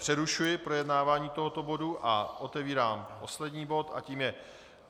Přerušuji projednávání tohoto bodu a otevírám poslední bod a tím je